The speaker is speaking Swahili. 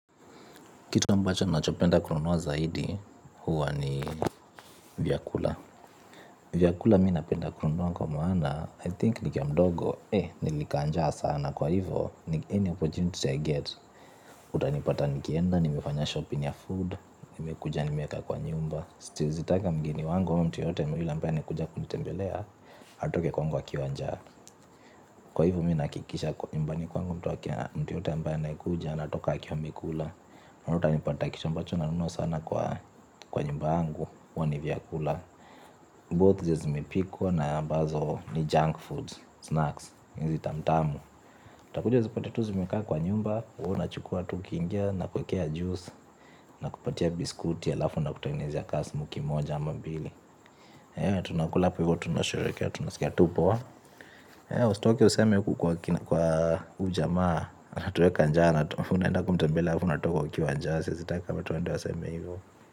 Kitu ambacho nachopenda kununua zaidi, huwa ni vyakula. Vyakula mimi napenda kununua kwa maana, I think nikiwa mdogo, eh, nilikaa njaa sana kwa hivyo, ni any opportunity I get. Utanipata nikienda, nimefanya shopping ya food, nimekuja nimekaa kwa nyumba. Siezi taka mgeni wangu au mtu yoyote yule ambaye amekuja kunitembelea, atoke kwangu akiwa njaa. Kwa hivyo mimi nahakikisha nyumbani kwangu mtu yoyote ambaye anayekuja, anatoka akiwa amekula. Mara utanipata kitu ambacho nanunua sana kwa nyumba yangu huWa ni vyakula Both zenye zimepikwa na ambazo ni junk foods, snacks hizi tamu tamu utakuja uzipate tu zimekaa kwa nyumba we unachukua tu ukiingia nakuwekea juice. Nakupatia biskuti alafu nakutengenezea kaa smokie moja ama mbili. Tunakula hapo hivyo tunasherehekea tunasikia tu poa. Usitoke useme huku kwa huu jamaa anatueka njaa unaenda kumtembelea alafu unatoka ukiwa njaa siezitaka watu waende waseme hivyo.